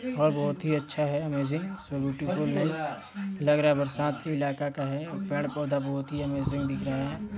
और बहोत ही अच्छा हैं अमजिंग सभी ब्युटीफूल हैं लग रहा हैं बरसात के इलाका का हैं और पेड़ पौधा बहुत ही अमजिंग दिख रहा हैं।